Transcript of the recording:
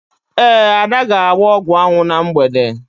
Ee, Ada ga-agba ọgwụanwụ na mgbede.